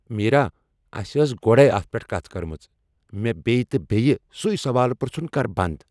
میرا ، اَسہِ ٲس گۄڈٕے اتھ پٮ۪ٹھ کتھ کٔرمٕژ۔ مےٚ بییہِ تہٕ بییہِ سُوٕے سوال پرژھُن كر بند ۔